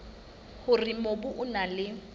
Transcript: hore mobu o na le